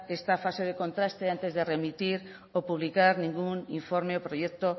esta fase de contraste antes remitir o publicar ningún informe proyecto